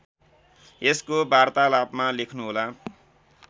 यसको वार्तालापमा लेख्नुहोला